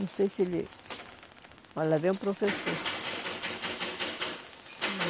Não sei se ele... Olha, lá vem o professor.